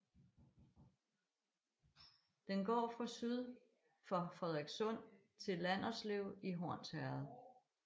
Den går fra syd for Frederikssund til Landerslev i Hornsherred